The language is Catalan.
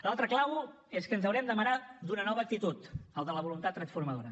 l’altra clau és que ens haurem d’amarar d’una nova actitud la de la voluntat transformadora